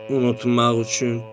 Unutmaq üçün.